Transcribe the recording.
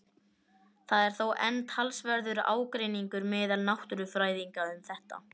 Það er þó enn talsverður ágreiningur meðal náttúrufræðinga um þetta.